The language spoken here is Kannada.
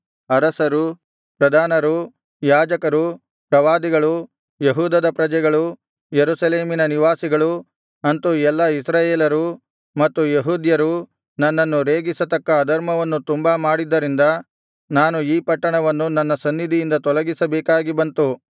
ಅರಸರು ಪ್ರಧಾನರು ಯಾಜಕರು ಪ್ರವಾದಿಗಳು ಯೆಹೂದದ ಪ್ರಜೆಗಳು ಯೆರೂಸಲೇಮಿನ ನಿವಾಸಿಗಳು ಅಂತು ಎಲ್ಲಾ ಇಸ್ರಾಯೇಲರೂ ಮತ್ತು ಯೆಹೂದ್ಯರೂ ನನ್ನನ್ನು ರೇಗಿಸತಕ್ಕ ಅಧರ್ಮವನ್ನು ತುಂಬಾ ಮಾಡಿದ್ದರಿಂದ ನಾನು ಈ ಪಟ್ಟಣವನ್ನು ನನ್ನ ಸನ್ನಿಧಿಯಿಂದ ತೊಲಗಿಸಬೇಕಾಗಿ ಬಂತು